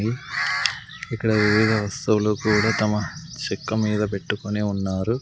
ఇక్కడ విరిగిన సోలో కూడా తమ చెక్క మీద పెట్టుకొని ఉన్నారు.